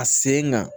A sen kan